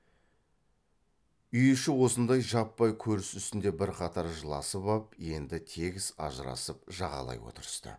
үй іші осындай жаппай көріс үстінде бірқатар жыласып ап енді тегіс ажырасып жағалай отырысты